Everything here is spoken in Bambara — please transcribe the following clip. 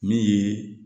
Min ye